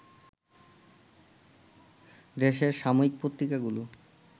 দেশের সাময়িক পত্রিকাগুলো